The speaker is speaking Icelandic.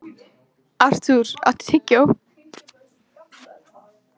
Artúr, áttu tyggjó?